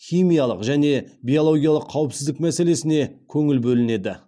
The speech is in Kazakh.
химиялық және биологиялық қауіпсіздік мәселесіне көңіл бөлінеді